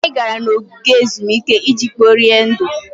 Anyị gara n'ogige ezumike iji kporie ndụ.